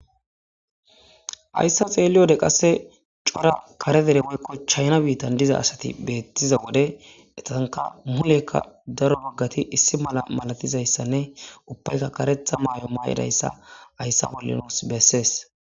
hayssa xeelliwode qasse cora kare dere woykko chayna biittan diza asati beettiza wode etanka mulekka daro boggati issi mala malatizayssanne ubbayka karetha maayo maayidayssa ayssa bolli nuus bessees